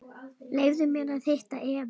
Leyfðu mér að hitta Evu.